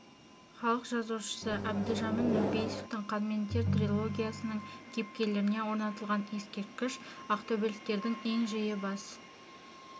халық жазушысы әбдіжәміл нұрпейісовтің қан мен тер трилогиясының кейіпкерлеріне орнатылған ескерткіш ақтөбеліктердің ең жиі бас